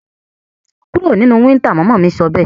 Kúro nínú winter! mama mí sọbẹ́ẹ̀